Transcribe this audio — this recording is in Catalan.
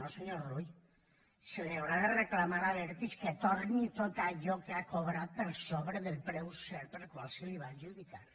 no senyor rull se li haurà de reclamar a abertis que torni tot allò que ha cobrat per sobre del preu cert pel qual se li va adjudicar